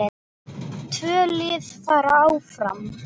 Tvö lið fara áfram.